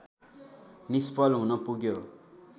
निष्फल हुनपुग्यो